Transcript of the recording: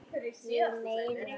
Ég meina